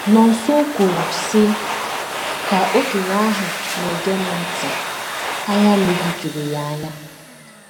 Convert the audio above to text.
* Nonso kwuru, sị: “ Ka okenye ahụ na - ege m ntị, anya mmiri juru ya anya.